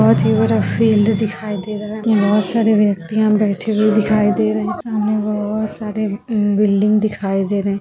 what you are a field दिखाई दे रहा है बहुत सारे व्यक्तियां बैठे हुए दिखाई दे रहे हैं सामने बहुत सारे बिल्डिंग दिखाई दे रहे हैं|